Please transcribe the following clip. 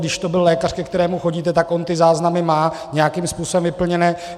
Když to byl lékař, ke kterému chodíte, tak on ty záznamy má nějakým způsobem vyplněné.